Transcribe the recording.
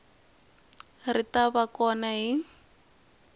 ri ta va kona hi